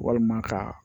Walima ka